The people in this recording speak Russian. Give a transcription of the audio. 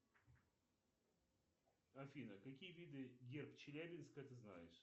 афина какие виды герб челябинска ты знаешь